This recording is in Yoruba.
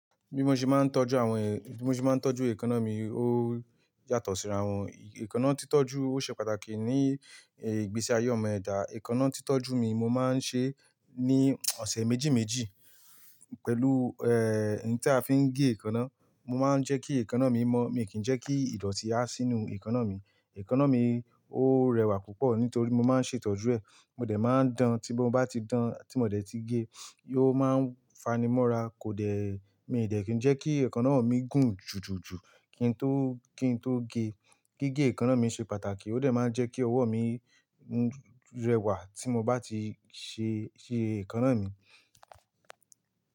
Bí mo ṣe máa ń tọ́jú àwọn, bí mo ṣe máa ń tọ́jú èékánná mi ó yàtọ̀ síra wọn. Ékánná títọ́jú, ó ṣe pàtàkì ní, eh, ìgbésí ayé ọmọ ẹ̀dá. Èékánná titọjú mi mo máa ń ṣe ní ọ̀sẹ̀ méjì méjì pẹ̀lú, eh, ohun tí a fi ń gé èékánná. Mo máa ń jẹ́ kí èékánná mọ́, mi kì í jẹ́ kí ìdọ̀tí ha sínú èékánná mi. Èékánná mi ó rẹwà púpọ̀ nítorí mo máa ń ṣètọ́jú ẹ̀. Mo dẹ̀ máa ń dán, tí mo bá ti dán, tí mo dẹ̀ ti gé, yóò máa ń fanimọ́ra, kò dẹ̀, mi dẹ̀ kì í jẹ́ kí èékánná mi gùn jùjùjù kí n tó, kí n tó gé. Gigé èékánná mi ṣe pàtàkì, ó dẹ̀ máa ń jẹ́ kí ọwọ́ mi rẹwà tí mo bá ti ṣe, ṣe èékánná mi.